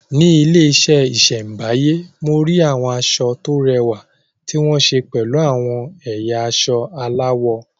Ní ilé ìṣẹ̀báyé, mo rí àwọn aṣọ tó rẹwà tí wọ́n ṣe pẹ̀lú àwọn ẹ̀yà aṣọ aláwọ̀.